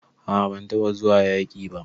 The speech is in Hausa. A'a ban taba zuwa yaki ba.